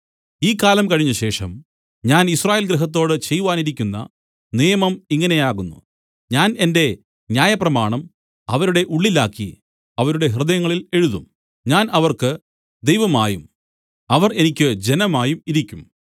ഈ കാലം കഴിഞ്ഞശേഷം ഞാൻ യിസ്രായേൽ ഗൃഹത്തോട് ചെയ്‌വാനിരിക്കുന്ന നിയമം ഇങ്ങനെ ആകുന്നു ഞാൻ എന്റെ ന്യായപ്രമാണം അവരുടെ ഉള്ളിലാക്കി അവരുടെ ഹൃദയങ്ങളിൽ എഴുതും ഞാൻ അവർക്ക് ദൈവമായും അവർ എനിക്ക് ജനമായും ഇരിക്കും